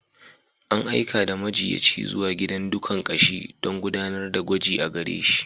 An aika da majiyyaci zuwa gidan dukan ƙashi don gudanar da gwaji a gare shi.